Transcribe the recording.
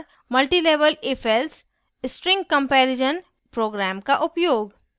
multilevel ifelse: string comparison program का उपयोग